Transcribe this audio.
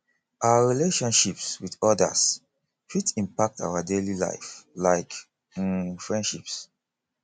our relationships with odas fit impact our daily life like um friendships